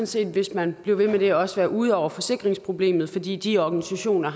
set hvis man blev ved med det også være ude over forsikringsproblemet fordi de organisationer